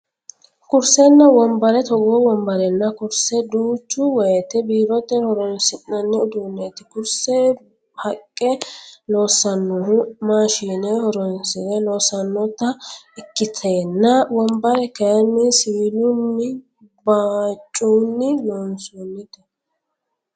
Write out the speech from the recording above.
Kurisenna wombare togoo wombarenna kurise duucha woyite biirote horonsinanni uduuneti kurise haqqa loosanohu maashine horonsire loosanotta ikkitenna wombare kayini siwilunninnabhoccunni loonsonite